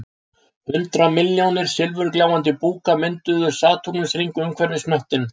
Hundrað milljónir silfurgljáandi búka mynduðu satúrnusarhring umhverfis hnöttinn